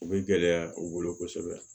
U bɛ gɛlɛya u bolo kosɛbɛ